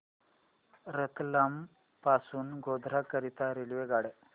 रतलाम पासून गोध्रा करीता रेल्वेगाड्या